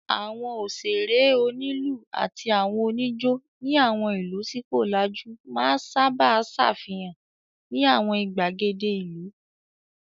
Àwọn òṣèrè, onílù àti àwọn oníjó ní àwọn ìlú tí kò lajú máa sábà ṣàfihàn ní àwọn ìgbàgede ìlú.